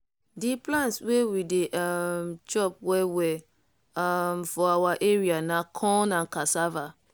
di plant wey we dey um chop well well um for our area na corn and cassava.